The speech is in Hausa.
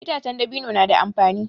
Itace dabino na da amfani.